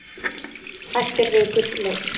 Hættir við gullleit